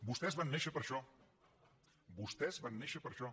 vostès van néixer per a això vostès van néixer per a això